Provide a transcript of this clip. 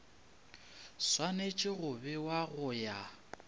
swanetše go bewa go ya